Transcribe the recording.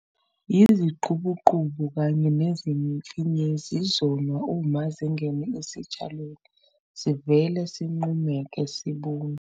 Yiziqubuqubu kanye nezimfinyezi izona uma zingene esitshalweni sivele sinqumeke sibune.